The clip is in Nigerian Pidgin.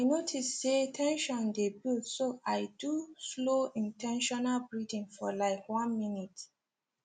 i notice say ten sion dey build so i do slow in ten tional breathing for like one minute